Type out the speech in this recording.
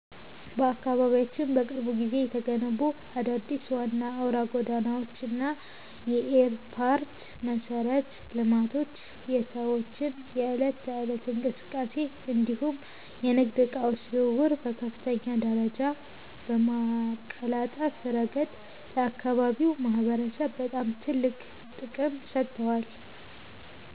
በአካባቢያችን በቅርብ ጊዜ የተገነቡት አዳዲስ ዋና አውራ ጎዳናዎች እና የኤርፖርት መሠረተ ልማቶች የሰዎችን የዕለት ተዕለት እንቅስቃሴ እንዲሁም የንግድ ዕቃዎች ዝውውርን በከፍተኛ ደረጃ በማቀላጠፍ ረገድ ለአካባቢው ማህበረሰብ በጣም ትልቅ ጥቅም ሰጥተዋል።